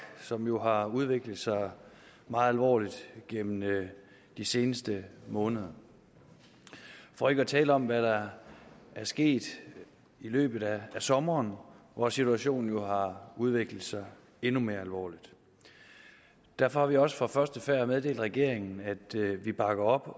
som jo har udviklet sig meget alvorligt gennem de seneste måneder for ikke at tale om hvad der er sket i løbet af sommeren hvor situationen jo har udviklet sig endnu mere alvorligt derfor har vi også fra første færd meddelt regeringen at vi bakker op